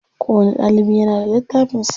Kowani ɗalibi yana da littafin sa.